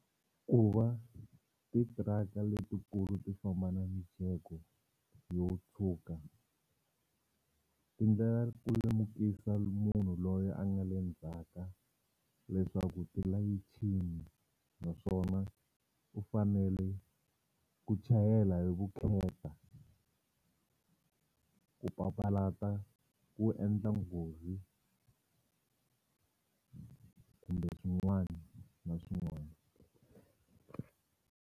Ku va titiraka letikulu ti famba na mijeko yo tshuka ti endlela ku lemukisa munhu loyi a nga le ndzhaka leswaku ti layichini naswona u fanele ku chayela hi vukheta ku papalata ku endla nghozi kumbe swin'wani na swin'wani.